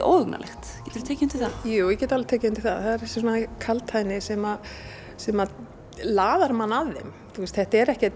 óhugnalegt geturðu tekið undir það jú ég get alveg tekið undir það það er þessi kaldhæðni sem sem laðar mann að þeim þetta er ekki